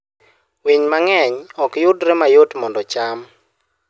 Winy mang'eny ok yudre mayot mondo ocham.